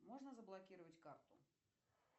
можно заблокировать карту